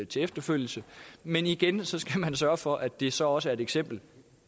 til efterfølgelse men igen skal man sørge for at det så også er et eksempel